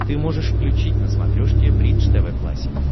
ты можешь включить на смотрешке бридж тв классик